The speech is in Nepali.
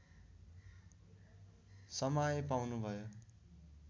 समाय पाउनु भयो